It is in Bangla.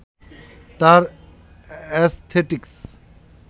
তার অ্যাসথেটিকস